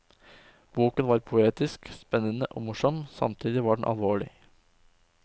Boken var poetisk, spennende og morsom, samtidig som den var alvorlig.